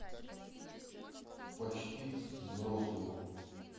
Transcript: почти взрослые